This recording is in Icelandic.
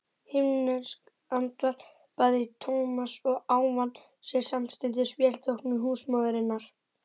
Himneskt andvarpaði Thomas og ávann sér samstundis velþóknun húsmóðurinnar.